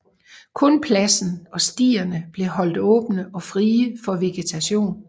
Kun pladsen og stierne blev holdt åbne og frie for vegetation